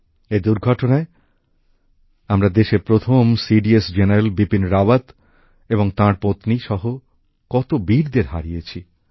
এই দূর্ঘটনায় আমরা দেশের প্রথম সিডিএস জেনারেল বিপিন রাওয়াত এবং তাঁর পত্নী সহ কত বীরদের হারিয়েছি